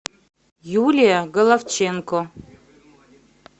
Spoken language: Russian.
юлия головченко